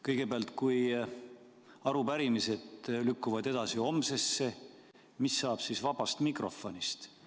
Kõigepealt, kui arupärimised lükkuvad edasi homsesse, mis saab siis vabast mikrofonist?